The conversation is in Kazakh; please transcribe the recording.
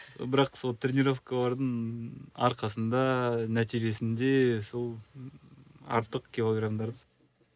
бірақ сол тренеровкалардың арқасында нәтижесінде сол ыыы артық килограмдарды